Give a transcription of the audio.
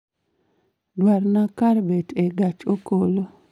Duokna kar bet e gach okolo